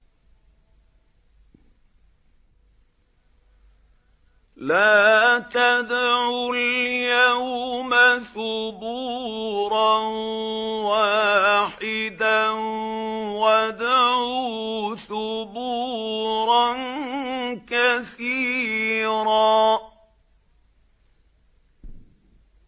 لَّا تَدْعُوا الْيَوْمَ ثُبُورًا وَاحِدًا وَادْعُوا ثُبُورًا كَثِيرًا